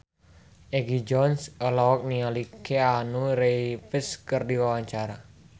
Egi John olohok ningali Keanu Reeves keur diwawancara